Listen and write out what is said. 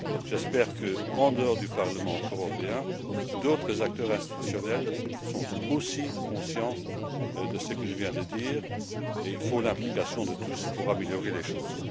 J'espère qu'en dehors du Parlement européen d'autres acteurs institutionnels sont aussi conscients de ce que je viens de dire et il faut l'implication de tous pour améliorer les choses.